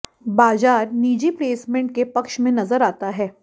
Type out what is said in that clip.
बाजार निजी प्लेसमेंट के पक्ष में नजर आता है